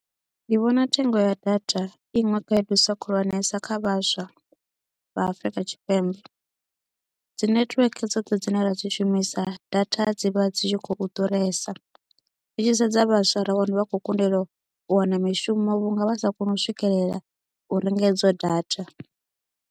Ndi vhona thengo ya data i iṅwe khaedusa khulwanesa kha vhaswa vha afrika tshipembe dzi network dzoṱhe dzine ra dzi shumisa data dzi vha dzi tshi khou ḓuresa ri tshi sedza vhaswa ra wana vha khou kundelwa u wana mishumo vhunga vha sa koni u swikelela u renga idzo data.